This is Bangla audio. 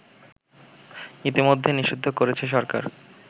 ইতোমধ্যে নিষিদ্ধ করেছে সরকার